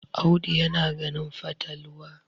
Audu yana ganin fatalwa